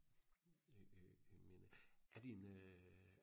øh øh men er din øh